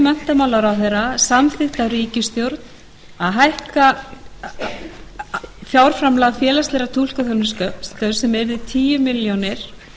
tillögu menntamálaráðherra samþykkt af ríkisstjórn að hækka fjárframlag félagslegrar túlkaþjónustu sem yrði tíu milljónir